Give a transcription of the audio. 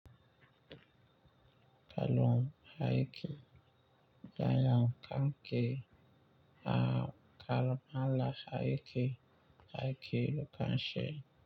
Kalon haike, bayan kanke a kalamala haike haike lokashe.